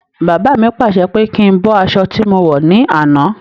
Baba mi pàṣẹ pé kí n bọ́ aṣọ tí mo wọ̀ ní àná.